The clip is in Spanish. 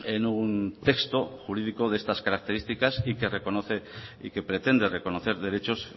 en un texto jurídico de estas características y que reconoce y que pretende reconocer derechos